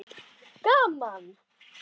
SKÚLI: Gaman!